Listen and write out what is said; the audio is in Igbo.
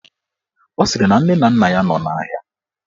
Ọ sịrị na nne na nna ya nọ n'ahịa